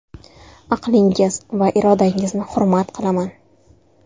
Aqlingiz va irodangizni hurmat qilaman.